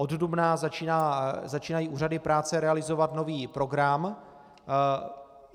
Od dubna začínají úřady práce realizovat nový program.